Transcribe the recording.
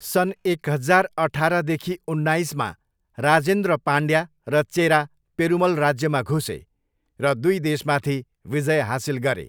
सन् एक हजार अठारदेखि उन्नाइसमा राजेन्द्र पाण्ड्या र चेरा पेरुमल राज्यमा घुसे र दुई देशमाथि विजय हासिल गरे।